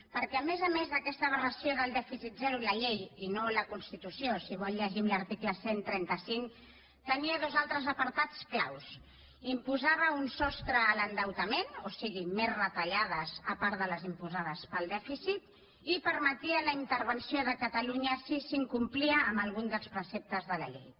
perquè a més a més d’aquesta aberració del dèficit zero la llei i no la constitució si vol llegim l’article cent i trenta cinc tenia dos altres apartats clau imposava un sostre a l’endeutament o sigui més retallades a part de les imposades pel dèficit i permetia la intervenció de catalunya si s’incomplia amb algun dels preceptes de la llei